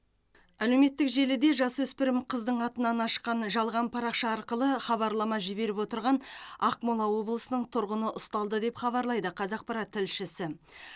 әлеуметтік желіде жасөспірім қыздың атынан ашқан жалған парақша арқылы хабарлама жіберіп отырған ақмола облысының тұрғыны ұсталды деп хабарлайды қазақпарат тілшісі